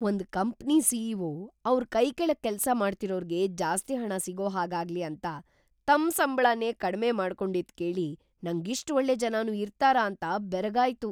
ಒಂದ್ company CEO. ಅವ್ರ್ ಕೈಕೆಳಗ್‌ ಕೆಲ್ಸ ಮಾಡ್ತಿರೋರ್ಗೆ ಜಾಸ್ತಿ ಹಣ ಸಿಗೋ ಹಾಗಾಗ್ಲಿ ಅಂತ ತಮ್‌ ಸಂಬ್ಳನೇ ಕಡ್ಮೆ ಮಾಡ್ಕೊಂಡಿದ್ದ್ ಕೇಳಿ‌ ನಂಗ್‌ ಇಷ್ಟ್‌ ಒಳ್ಳೆ ಜನನೂ ಇರ್ತಾರಾ ಅಂತ ಬೆರಗಾಯ್ತು.